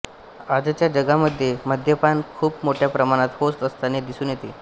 आजच्या जगामध्ये मद्यपान खूप मोठ्या प्रमाणात होत असतानी दिसून येते